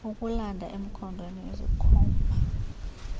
ukulanda emkhondweni izikhomba